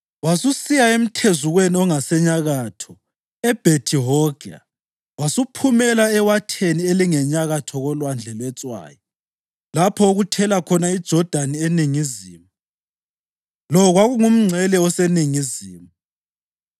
Wasusiya emthezukweni ongasenyakatho eBhethi-Hogla wasuphumela ewatheni elingenyakatho koLwandle lweTswayi lapho okuthela khona iJodani eningizimu. Lo kwakungumngcele oseningizimu.